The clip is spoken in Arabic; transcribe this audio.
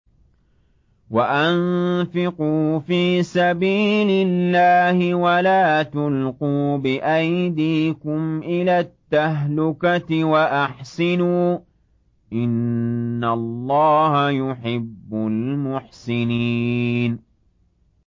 وَأَنفِقُوا فِي سَبِيلِ اللَّهِ وَلَا تُلْقُوا بِأَيْدِيكُمْ إِلَى التَّهْلُكَةِ ۛ وَأَحْسِنُوا ۛ إِنَّ اللَّهَ يُحِبُّ الْمُحْسِنِينَ